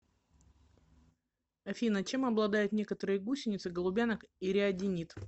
афина чем обладают некоторые гусеницы голубянок и риодинид